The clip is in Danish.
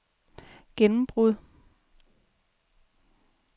gennembrud